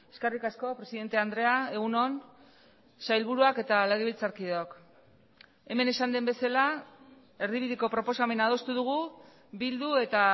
eskerrik asko presidente andrea egun on sailburuak eta legebiltzarkideok hemen esan den bezala erdibideko proposamena adostu dugu bildu eta